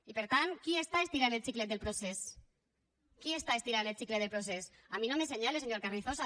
i per tant qui està estirant el xiclet del procés qui està estirant el xicle del procés a mi no m’assenyale senyor carrizosa